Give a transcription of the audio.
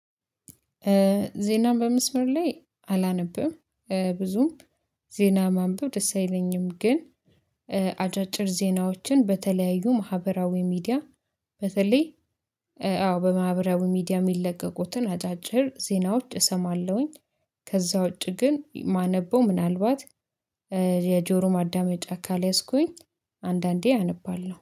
ዜናም በመስመር ላይ አላነብም ብዙም ዜና ማንበብ ደስ አይለኝም። ግን አጫጭር ዜናዎችን በተለያዩ ማህበራዊ ሚዲያ በተለይ አዎ በማህበራዊ ሚዲያ የሚለቀቁትን አጫጭር ዜናዎች እሰማለሁኝ። ከዛ ውጪ ግን የማነበው ምናልባት የጆሮ ማዳመጫ ካልያዝኩኝ አንዳንዴ አነባለሁ